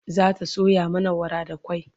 zata soya mana wara da kwai